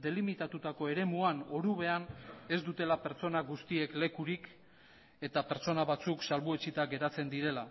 delimitatutako eremuan orubean ez dutela pertsona guztiek lekurik eta pertsona batzuk salbuetsita geratzen direla